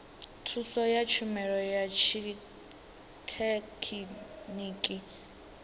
thuso ya tshumelo ya tshithekhiniki